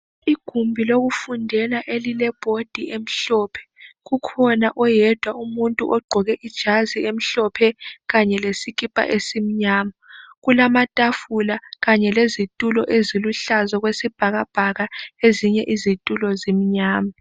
Igumbi lokufundela elilebhodi emhlophe. Kukhona oyedwa umuntu ogqoke ijazi elimhlophe kanye lesikipa esimnyama. Kulamatafula Kanye lezitulo eziluhlaza okwesibhakabhaka ezinye izitulo zimnyama.